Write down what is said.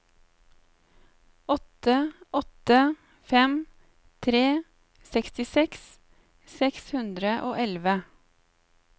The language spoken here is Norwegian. åtte åtte fem tre sekstiseks seks hundre og elleve